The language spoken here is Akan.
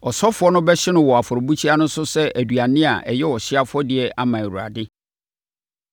Ɔsɔfoɔ no bɛhye no wɔ afɔrebukyia no so sɛ aduane a ɛyɛ ɔhyeɛ afɔdeɛ ama Awurade.